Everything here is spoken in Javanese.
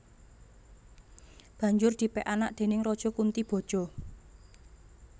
Banjur dipek anak déning Raja Kuntiboja